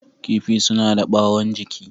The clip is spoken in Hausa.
Kifi suna da ɓawon jiki.